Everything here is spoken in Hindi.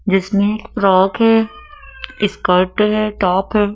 जिसमें फ्रॉक है स्कर्ट है टॉप है।